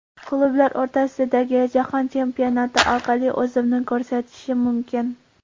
Klublar o‘rtasidagi Jahon chempionati orqali o‘zimni ko‘rsatishim mumkin.